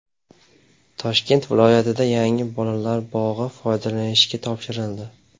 Toshkent viloyatida yangi bolalar bog‘i foydalanishga topshirildi.